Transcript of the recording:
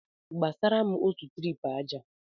Gbasara m otu tirip aja!